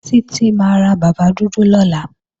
Títí máa ra bàbá dúdú lọ́la